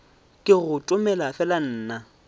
ke go tomele fela nna